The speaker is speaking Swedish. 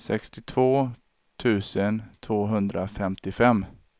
sextiotvå tusen tvåhundrafemtiofem